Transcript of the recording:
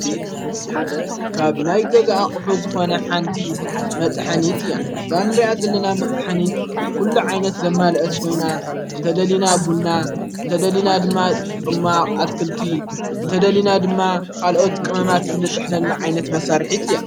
ካብ ናይ ገዝኣ ቝሑ ዝኾነ ሓንቲ መጥሓኒት እያ እዛንርያት ዘለና መጥሓኒት ኲሉ ዓይነት ዘማልአት ኾይና እንተ ደሊና ቡንና እንተ ደሊና ድማ ማ ኣትክልቲ እንተ ደሊና ድማ ኻልኦት ቅመማያት እንጥሕለኒ ዓይነት መሣርሒት እያ።